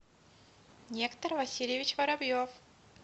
нектор васильевич воробьев